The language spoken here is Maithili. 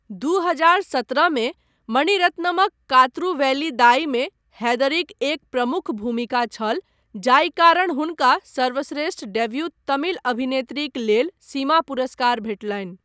दू हजार सत्रहमे मणिरत्नमक कात्रु वेलियीदाईमे हैदरीक एक प्रमुख भूमिका छल, जाहि कारण हुनका सर्वश्रेष्ठ डेव्यू तमिल अभिनेत्रीक लेल सीमा पुरस्कार भेटलनि।